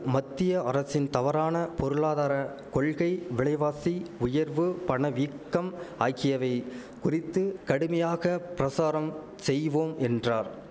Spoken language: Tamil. மத்திய அரசின் தவறான பொருளாதார கொள்கை விலைவாசி உயர்வு பணவீக்கம் ஆகியவை குறித்து கடுமையாக பிரசாரம் செய்வோம் என்றார்